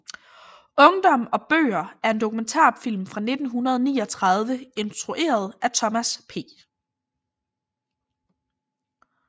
Ungdom og bøger er en dokumentarfilm fra 1939 instrueret af Thomas P